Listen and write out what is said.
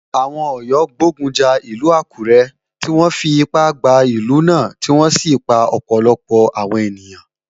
Àwọn Ọ̀yọ́ gbógun ja ìlú Àkúré, tí wọ́n fipá gba ìlú náà tí wọ́n sì pa ọ̀pọ̀lọpọ̀ àwọn ènìyàn.